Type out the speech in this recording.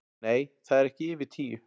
Nei, það eru ekki yfir tíu